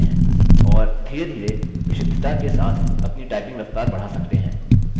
और धीरेधीरे विशुद्धता के साथ अपनी टाइपिंग रफ्तार बढ़ा सकते हैं